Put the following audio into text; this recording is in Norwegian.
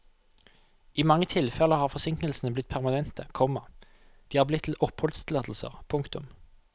I mange tilfeller har forsinkelsene blitt permanente, komma de er blitt til oppholdstillatelser. punktum